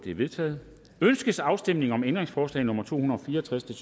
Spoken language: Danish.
er vedtaget ønskes afstemning om ændringsforslag nummer to hundrede og fire og tres